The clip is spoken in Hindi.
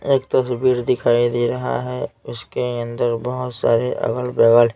एक तस्वीर दिखाई दे रहा है उसके अंदर बहुत सारे अगल-बगल--